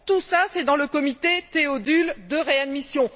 Tout cela, c'est dans le comité Théodule de réadmission.